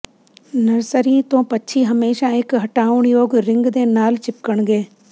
nursery ਤੋਂ ਪੰਛੀ ਹਮੇਸ਼ਾਂ ਇਕ ਹਟਾਉਣਯੋਗ ਰਿੰਗ ਦੇ ਨਾਲ ਚਿਪਕਣਗੇ